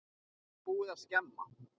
Það er búið að skemma.